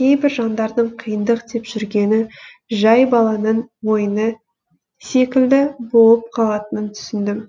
кейбір жандардың қиындық деп жүргені жай баланың ойыны секілді болып қалатынын түсіндім